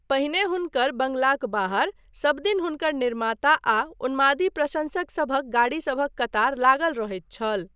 पहिने हुनकर बंगलाक बाहर सबदिन हुनकर निर्माता आ उन्मादी प्रशंसकसभक गाड़ीसभक कतार लागल रहैत छल।